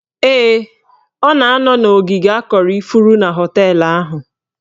Ee, ọ na-anọ n'ogige akọrọ ifuru na họteelụ ahụ